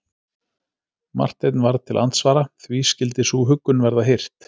Marteinn varð til andsvara:-Því skyldi sú huggun verða hirt?